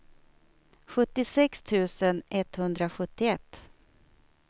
sjuttiosex tusen etthundrasjuttioett